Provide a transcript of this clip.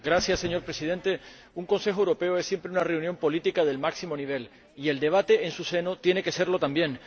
Señor Presidente, un Consejo Europeo es siempre una reunión política del máximo nivel y el debate en su seno tiene que serlo también.